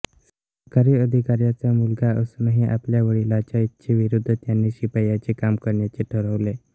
सरकारी अधिकार्यांचा मुलगा असूनही आपल्या विडीलाच्या इच्छे विरुद्ध त्यांनी शिप्याचे काम करण्याचे ठरवले